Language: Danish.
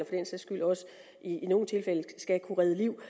sags skyld også i nogle tilfælde skal kunne redde liv